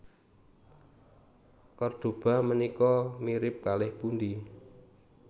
Kordoba menika mirip kalih pundi